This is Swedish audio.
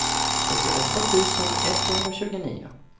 fyrtioåtta tusen etthundratjugonio